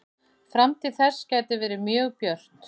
Framtíð þess gæti verið mjög björt.